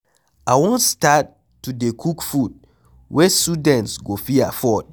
I wan start to dey cook food wey students go fit afford.